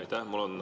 Aitäh!